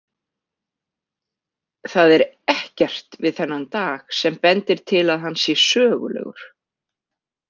Það er ekkert við þennan dag sem bendir til að hann sé sögulegur.